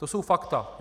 To jsou fakta.